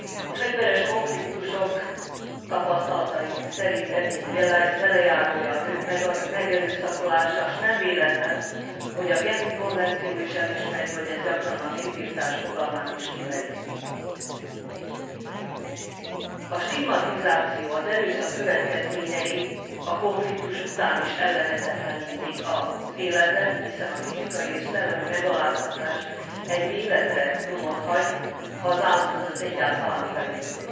A fegyveres konfliktusok tapasztalataink szerint eddigi velejárója a nők megerőszakolása, s nem véletlen, hogy a genfi konvenció is elismeri, hogy ez gyakran a népirtás fogalmát is kimeríti. A stigmatizáció, az erőszak következményei a konfliktus után is ellehetetlenítik az életet, hiszen a fizikai és szellemi megaláztatás egy életre nyomot hagy, ha az áldozat egyáltalán felépül.